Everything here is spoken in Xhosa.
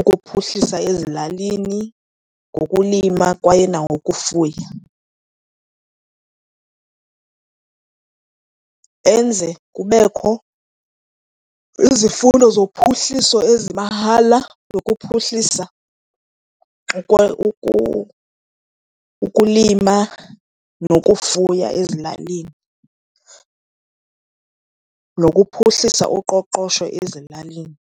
ukuphuhlisa ezilalini ngokulima kwaye nangokufuya. Enze kubekho izifundo zophuhliso ezimahala, zokuphuhlisa ukulima nokufuya ezilalini, nokuphuhlisa uqoqosho ezilalini.